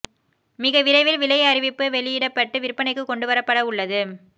மிக விரைவில் விலை அறிவிப்பு வெளியிடப்பட்டு விற்பனைக்கு கொண்டு வரப்பட உள்ளது